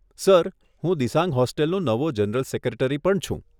Sir, હું દિસાંગ હોસ્ટેલનો નવો જનરલ સેક્રેટરી પણ છું.